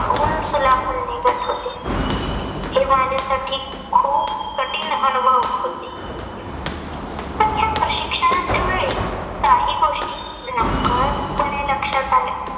तावून सुलाखून निघत होते. हे माझ्यासाठी खूप कठीण अनुभव होते. पण ह्या प्रशिक्षणाच्या वेळी काही गोष्टी नकळतपणे लक्षात आल्या.